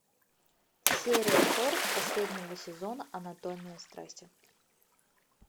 серия сорок последнего сезона анатомия страсти